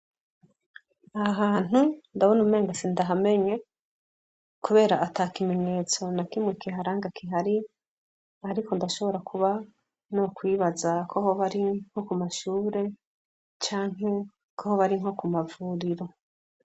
Aha hantu ndabona umenga sindahamenye kubera ata kimenyetso na kimwe kiharanga kihari ariko ndashobora kuba nokwibaza ko hoba hari nko ku mashure canke ko hoba ari nko ku mavuriro.